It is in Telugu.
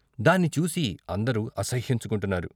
దాన్ని చూసి అందరూ అసహ్యించుకుంటున్నారు.